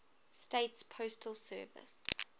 states postal service